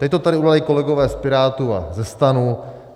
Teď to tady udělali kolegové z Pirátů a ze STANu.